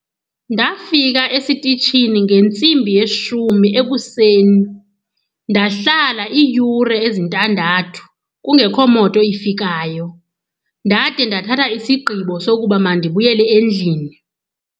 Ndafika esitishini ngentsimbi yeshumi ekuseni. Ndahlala iiyure ezintandathu kungekho moto efikayo ndade ndathatha isigqibo sokuba mandibuyele endlini.